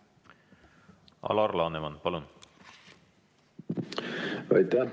Alar Laneman, palun!